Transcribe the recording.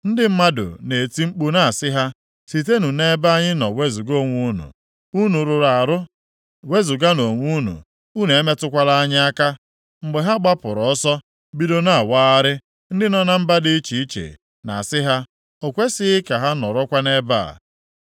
Ndị mmadụ na-eti mkpu na-asị ha, “Sitenụ nʼebe anyị nọ wezuga onwe unu! Unu rụrụ arụ! Wezuganụ onwe unu, unu emetụkwala anyị aka!” Mgbe ha gbapụrụ ọsọ bido na-awagharị, ndị nọ na mba dị iche iche na-asị ha, “O kwesighị ka ha nọrọkwa nʼebe a.”